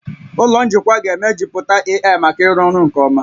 Ụlọ njikwa ga-emejuputa AI maka ịrụ ọrụ nke ọma